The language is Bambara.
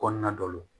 Kɔnɔna dɔ la